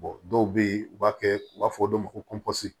dɔw bɛ yen u b'a kɛ u b'a fɔ dɔw ma ko kɔnsi